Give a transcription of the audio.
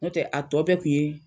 No tɛ a tɔ bɛ kun ye